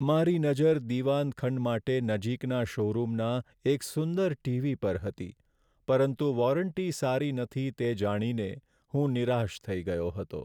મારી નજર દીવાન ખંડ માટે નજીકના શોરૂમના એક સુંદર ટીવી પર હતી પરંતુ વોરંટી સારી નથી તે જાણીને હું નિરાશ થઈ ગયો હતો.